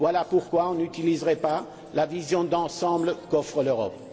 Pourquoi n'utiliserait on pas la vision d'ensemble qu'offre l'Europe?